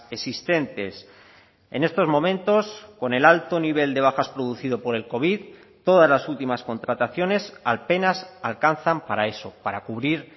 existentes en estos momentos con el alto nivel de bajas producido por el covid todas las últimas contrataciones apenas alcanzan para eso para cubrir